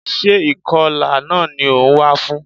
Sé ìkọlà náà ni o wá fún?